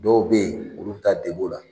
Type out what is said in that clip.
Dɔw bɛ yen olu ta debo la